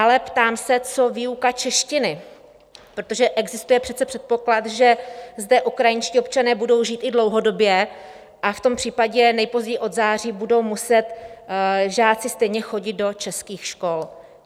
Ale ptám se, co výuka češtiny, protože existuje přece předpoklad, že zde ukrajinští občané budou žít i dlouhodobě, a v tom případě nejpozději od září budou muset žáci stejně chodit do českých škol.